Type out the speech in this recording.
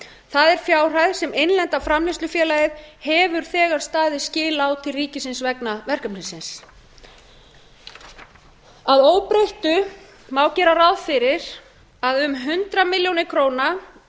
það er fjárhæð sem innlenda framleiðslufélagið hefur þegar staðið skil á til ríkisins vegna verkefnisins að óbreyttu má gera ráð fyrir að um hundrað milljónir króna